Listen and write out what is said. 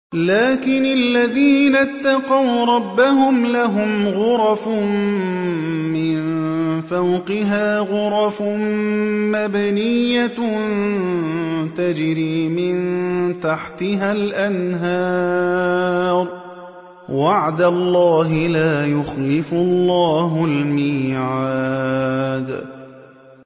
لَٰكِنِ الَّذِينَ اتَّقَوْا رَبَّهُمْ لَهُمْ غُرَفٌ مِّن فَوْقِهَا غُرَفٌ مَّبْنِيَّةٌ تَجْرِي مِن تَحْتِهَا الْأَنْهَارُ ۖ وَعْدَ اللَّهِ ۖ لَا يُخْلِفُ اللَّهُ الْمِيعَادَ